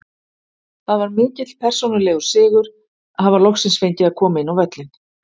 Það var mikill persónulegur sigur að hafa loksins fengið að koma inn á völlinn.